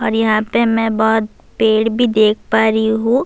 اور یہاں پی میں بھوت پیڈ بھی دیکھ پا رہی ہو--